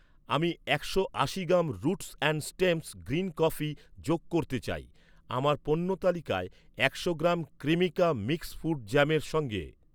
আমি একশো আশি gram roots and stems green coffee যোগ করতে চাই আমার পণ্য তালিকায় একশো গ্রাম ক্রিমিকা মিক্স ফ্রুট জ্যামের সঙ্গে।